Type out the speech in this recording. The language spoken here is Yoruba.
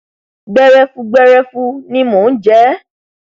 gbẹrẹfụ gbẹrẹfụ ni mo jẹ ẹ